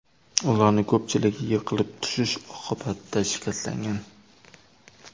Ularning ko‘pchiligi yiqilib tushish oqibatida shikastlangan.